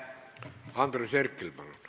Andres Herkel, palun!